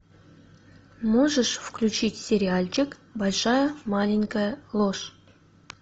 можешь включить сериальчик большая маленькая ложь